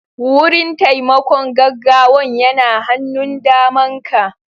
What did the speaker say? Wurin taimakon gaggawan yana hannun daman ka